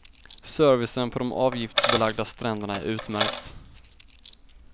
Servicen på de avgiftsbelagda stränderna är utmärkt.